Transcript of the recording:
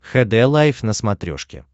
хд лайф на смотрешке